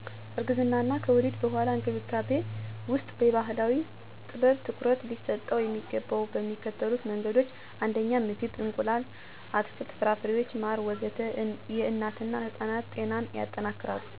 እርግዝና እና ከወሊድ በኋላ እንክብካቤ ውስጥ የባህላዊ ጥበብ ትኩረት ሊሰጠው የሚገባው በሚከተሉት መንገዶች ነው 1. ምግብ – እንቁላል፣ አትክልት፣ ፍራፍሬና ማር ወዘተ... የእናትና የሕፃን ጤናን ያጠነክራሉ። 2. የ40 ቀን እረፍት – ይህ የሰውነት ደም እና ኃይል ረጋ እንዲያደርግ ይረዳል። 3. ቀስ ባለ አካል እንቅስቃሴ – ከወሊድ በኋላ መንቀሳቀስ የሰውነት ማገገምን ያስቻላል። መተው ያለባቸው ጎጂ ልማዶች - ከባድ ሥራ (የማህፀን መውረድን ያስከትላል) - የስሜት ጫና እና ግጭት (የሕጻን እድገትን ይጎዳል) ባህላዊ እንክብካቤው በሳይንሳዊ እውቀት ከተጣመረ የእናቶችና ሕጻናት ጤና ይጠበቃል።